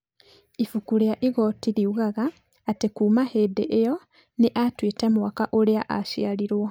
ĩbuku rĩa igooti riugaga atĩ kuuma hĩndĩ ĩyo nĩ aatuĩte mwaka ũrĩa aaciarirũo.